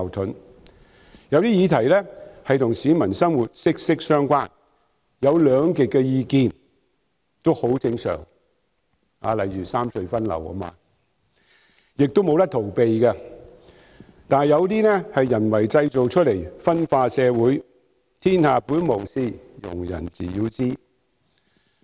在一些與市民生活息息相關的議題上，例如三隧分流，出現兩極意見是很正常的事，亦無法逃避，但有些是人為製造出來分化社會的意見，天下本無事，庸人自擾之。